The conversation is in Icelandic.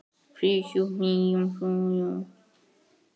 Flýtti sér fram.